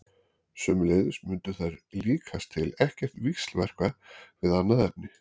Sömuleiðis mundu þær líkast til ekkert víxlverka við annað efni.